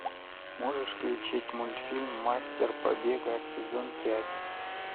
можешь включить мультфильм мастер побега сезон пять